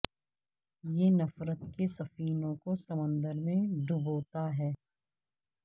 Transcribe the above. یہ نفرت کے سفینوں کو سمندر میں ڈبوتا ہے